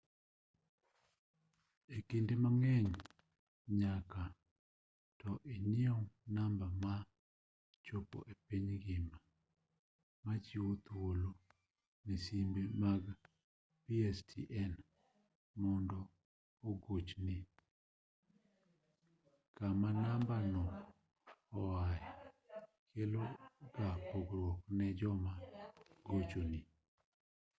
e kinde mang'eny nyaka to inyiew namba ma chopo e piny ngima machiwo thuolo ne simbe mag pstn mondo ogochni kama namba no oae kelo ga pogruok ne joma gochoni